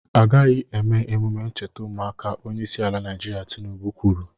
Agaghị eme emume ncheta ụmụaka! Onyeisi ala Naịjirịa Tinubu kwuru